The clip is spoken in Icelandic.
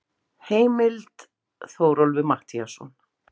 Heimild: Þórólfur Matthíasson.